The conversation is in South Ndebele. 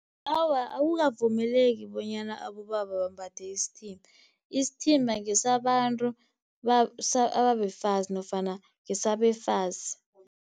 Awa, akukavumeleki bonyana abobaba bambathe isithimba. Isithimba ngesabantu ababefazi nofana ngesabafazi.